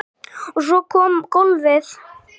Og svo kom golfið.